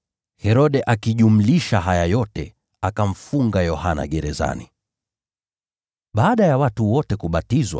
Herode aliongezea jambo hili kwa hayo mengine yote: alimfunga Yohana gerezani.